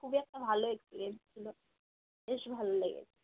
খুব একটা ভালো ছিল বেশ ভালো লেগেছে